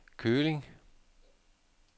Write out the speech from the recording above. Køling